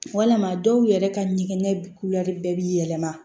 Walama dɔw yɛrɛ ka ɲɛgɛn kulɛri bɛɛ bɛ yɛlɛma